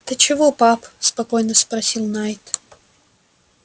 ты чего пап спокойно спросил найд